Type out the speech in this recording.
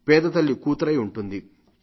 పేదతల్లి కూతురై ఉంటుంది